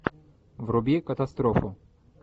вруби катастрофу